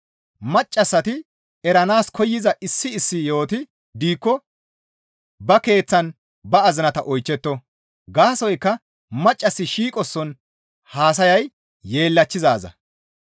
Maccassati eranaas koyza issi issi yo7oti diikko ba keeththan ba azinata oychchetto; gaasoykka maccassi shiiqoson haasayay yeellachchizaaza.